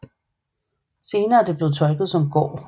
Senere er det blevet tolket som gård